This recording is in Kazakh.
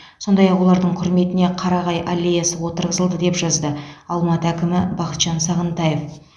сондай ақ олардың құрметіне қарағай аллеясы отырғызылды деп жазды алматы әкімі бахытжан сағынтаев